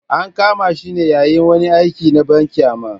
An kama shi ne yayin wani aiki na banƙyama.